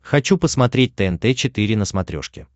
хочу посмотреть тнт четыре на смотрешке